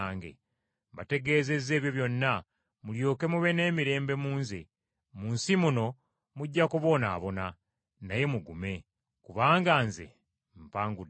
“Mbategeezezza ebyo byonna mulyoke mube n’emirembe mu nze. Mu nsi muno mujja kubonaabona, naye mugume, kubanga Nze mpangudde ensi.”